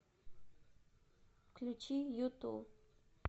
включи юту